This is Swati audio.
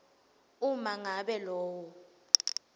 uma ngabe lowo